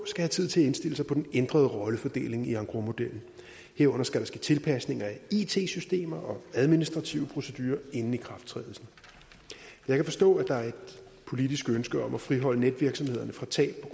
have tid til at indstille sig på den ændrede rollefordeling i engrosmodellen herunder skal der ske tilpasninger i it systemer og administrative procedurer inden ikrafttrædelsen jeg kan forstå at der er et politisk ønske om at friholde netvirksomhederne fra tab